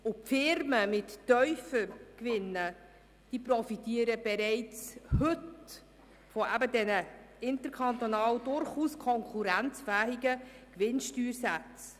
Die Firmen mit tiefen Gewinnen profitieren bereits heute von den interkantonal durchaus konkurrenzfähigen Gewinnsteuersätzen.